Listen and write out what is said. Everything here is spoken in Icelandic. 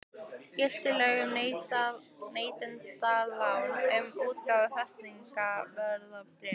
Giltu lög um neytendalán um útgáfu fasteignaveðbréfsins?